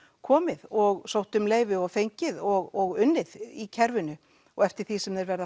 komið og sótt um leyfi og fengið og unnið í kerfinu og eftir því sem þeir verða